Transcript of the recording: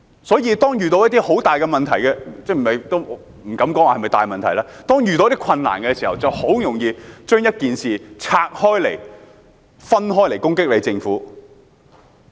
所以，當遇到一些很大的問題——也不敢說是否大問題——當遇到一些困難的時候，人們就很容易利用一件事攻擊政府。